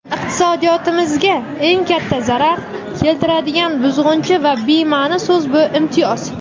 Iqtisodiyotimizga eng katta zarar keltiradigan buzg‘unchi va bemani so‘z bu imtiyoz.